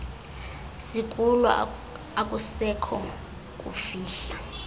sikulo akusekho kufihla